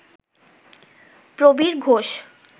Prabir Ghosh